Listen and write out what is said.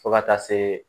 Fo ka taa se